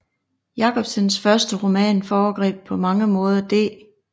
Jacobsens første roman foregreb på mange måder D